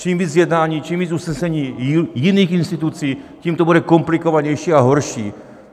Čím víc jednání, čím víc usnesení jiných institucí, tím to bude komplikovanější a horší.